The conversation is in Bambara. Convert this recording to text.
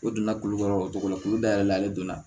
E donna kulukɔrɔ o cogo la kulu dayɛlɛ ale donna